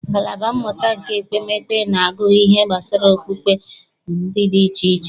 Ngalaba mmụta nke ekpemekpe na-agụ ihe gbasara okpukpe dị iche iche.